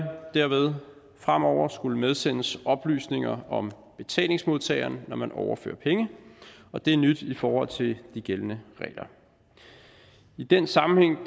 derved fremover skulle medsendes oplysninger om betalingsmodtageren når man overfører penge og det er nyt i forhold til de gældende regler i den sammenhæng